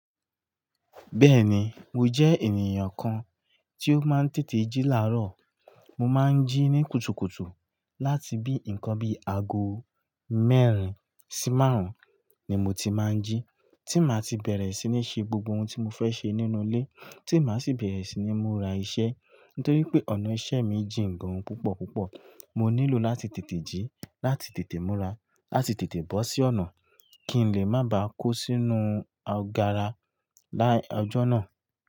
Bẹẹni, mo jẹ ènìyàn kàn ti ó máa n tètè jí laarọ. Mo máa ń jí ní kùtùkùtù láti bí nǹkan bí ago mẹ́rin sí márùn-ún ni mo ti máa ń jí. Tí màá ti bẹ̀rẹ̀ sí ní ṣe gbogbo ohun tí mo fẹ́ ṣe nínú ilé, tí màá sì bẹ̀rẹ̀ sí ní múra iṣẹ́. Nítorí pé ọ̀nà ìṣe mi jín gan púpọ̀ púpọ̀, mo nílò láti tètè jí, láti tètè múra, láti tètè bọ́ sí ọ̀nà kí n lè má ba à kó sínú agara lái ọjọ́ náà.